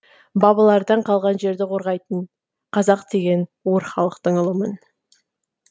бабалардан қалған жерді қорғайтын қазақ деген өр халықтың ұлымын